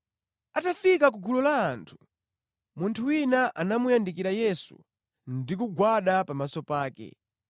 Atafika ku gulu la anthu, munthu wina anamuyandikira Yesu ndi kugwada pamaso pake.